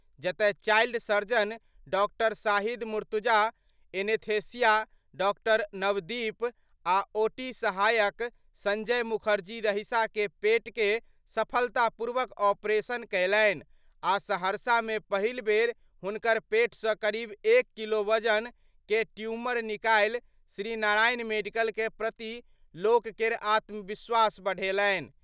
जतय child surgeon डॉ. Shahid Murtaza, anaesthesia डॉ. नवदीप आ ओटी सहायक संजय मुखर्जी रहिसा के पेट के सफलतापूर्वक ऑपरेशन कयलनि आ सहरसा में पहिल बेर हुनकर पेट सं करीब एक किलो वजन कए ट्यूमर निकालि श्री नारायण मेडिकल कए प्रति लोक केर आत्मविश्वास बढ़ेलनि।